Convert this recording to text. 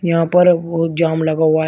यहां पर बहुत जाम लगा हुआ है।